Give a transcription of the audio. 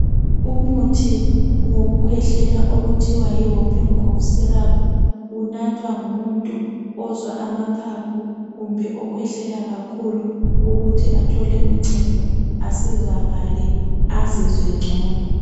Umuthi wokukhwehlela okuthiwa yi Whoopin Cough syrup unathwa ngumuntu ozwa amaphaphu kumbe okhwehlela kakhulu ukuthi athole uncedo asizakale azizwe ngcono.